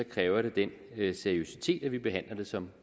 kræver det den seriøsitet at vi behandler det som